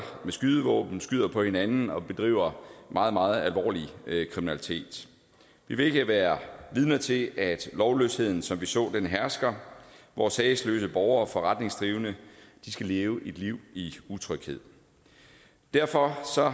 med skydevåben skyder på hinanden og bedriver meget meget alvorlig kriminalitet vi vil ikke være vidner til at lovløsheden som vi så det hersker hvor sagesløse borgere og forretningsdrivende skal leve et liv i utryghed derfor